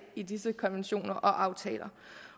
i disse konventioner og aftaler